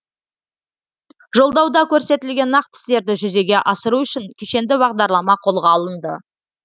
жолдауда көрсетілген нақты істерді жүзеге асыру үшін кешенді бағдарлама қолға алынды